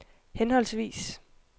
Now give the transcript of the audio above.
henholdsvis